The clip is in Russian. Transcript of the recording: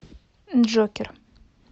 джокер